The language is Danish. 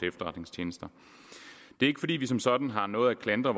efterretningstjenesterne det er ikke fordi vi som sådan har noget at klandre